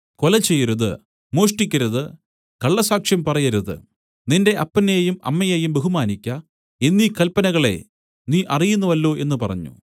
കൊല ചെയ്യരുത് മോഷ്ടിക്കരുത് കള്ളസാക്ഷ്യം പറയരുത് നിന്റെ അപ്പനെയും അമ്മയെയും ബഹുമാനിയ്ക്ക എന്നീ കല്പനകളെ നീ അറിയുന്നുവല്ലോ എന്നു പറഞ്ഞു